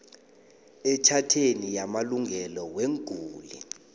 etjhatheni yamalungelo weenguli